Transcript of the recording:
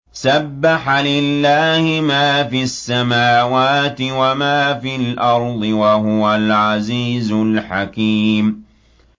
سَبَّحَ لِلَّهِ مَا فِي السَّمَاوَاتِ وَمَا فِي الْأَرْضِ ۖ وَهُوَ الْعَزِيزُ الْحَكِيمُ